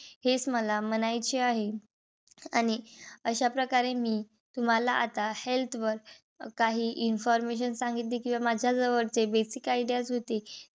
हेच मला म्हणायचे आहे. आणि अशाप्रकारे मी तुम्हाला आता health वर काही information सांगितली. किंवा माझ्याजवळ जे basic ideas होते.